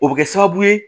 O bɛ kɛ sababu ye